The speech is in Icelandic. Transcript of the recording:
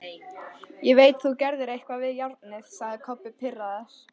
Ég veit þú gerðir eitthvað við járnið, sagði Kobbi pirraður.